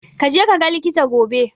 Kaje kaga likita gobe.